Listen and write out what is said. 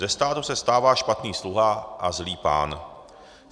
Ze státu se stává špatný sluha a zlý pán.